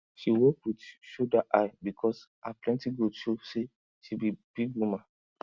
she dey walk with shoulder high because her plenty goat show say she be big woman